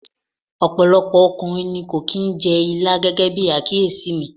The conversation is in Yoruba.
Ọ̀pọ̀lọpọ̀ ọkùnrin ni kò kì í jẹ ilá gẹ́gẹ́bí àkíyèsí mi.